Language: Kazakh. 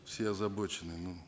все озабочены ну